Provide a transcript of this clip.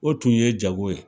O tun ye jago ye